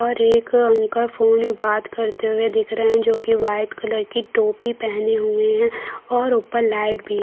और एक uncle phone में बात करते हुए दिख रहे हैं जो की वाइट कलर की टोपी पहने हुए हैं और ऊपर लाइट भी--